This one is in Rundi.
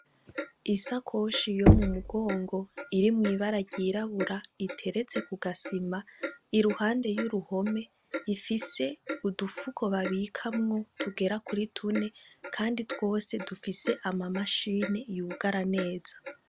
Isa koshi yo mu mugongo iri mw'ibara ryirabura iteretse ku gasima i ruhande y'uruhome ifise udufuko babikamwo tugera kuri tune, kandi twose dufise ama mashine yugara neza.